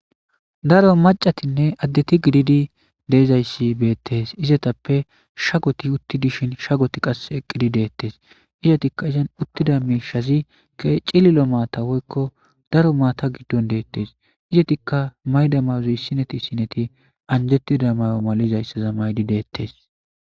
Daro macatinne addeti gididi deezayssi beettes izatappe shagoti utti dishin shagoti qa eqqidi deettes izatikka izan uttida miishazi ke cililo maata woykko daro maata giddon deettes izatikka maydamauzy sineti sineti anjettida mayo malizayssaza maydi deettes.